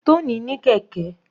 Tony ní kẹ̀kẹ́.